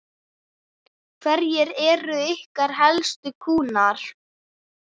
Hverjir eru ykkar helstu kúnnar?